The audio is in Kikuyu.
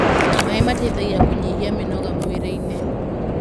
maĩ mateithagia kunyihia mĩnoga mwĩrĩ-ini